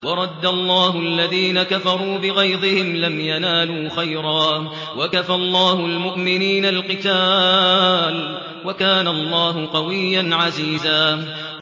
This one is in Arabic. وَرَدَّ اللَّهُ الَّذِينَ كَفَرُوا بِغَيْظِهِمْ لَمْ يَنَالُوا خَيْرًا ۚ وَكَفَى اللَّهُ الْمُؤْمِنِينَ الْقِتَالَ ۚ وَكَانَ اللَّهُ قَوِيًّا عَزِيزًا